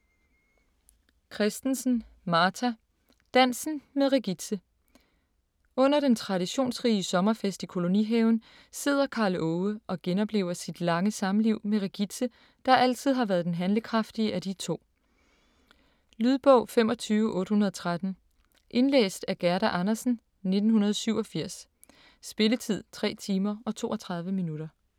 Christensen, Martha: Dansen med Regitze Under den traditionsrige sommerfest i kolonihaven sidder Karl Åge og genoplever sit lange samliv med Regitze, der altid har været den handlekraftige af de to. Lydbog 25813 Indlæst af Gerda Andersen, 1987. Spilletid: 3 timer, 32 minutter.